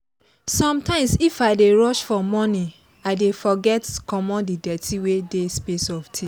sometimes if i dey rush for morning i dey forget commot the dirty wey dey space of teeth